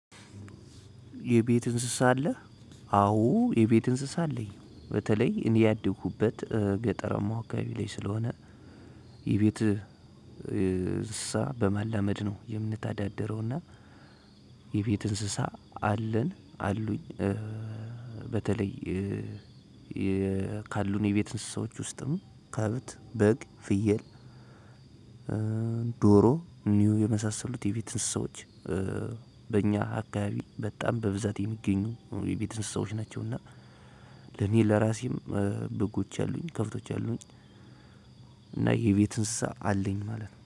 የቤት እንስሳ አለ። አዎ የቤት እንስሳ አለኝ በተለይ እኔ ያደኩበት ገጠራማ አካባቢ ላይ ስለሆነ። የቤት እንስሳ በማላመድ ነው የምንተዳደረውና። የቤት እንስሳ አለን አሉኝ። በተለይ ካሉን የቤት እንስሳዎች ውስጥም ከብት በግ ፍየል። ዶሮ ኒው የመሳሰሉት የፊት ሰዎች። በእኛ አካባቢ በጣም በብዛት የሚገኙ የቤት እንስሳዎች ናቸውና። ለኔ ለራሴም በጎች አሉኝ ከብቶች አሉኝ። እና የቤት እንስሳ አለኝ ማለት ነው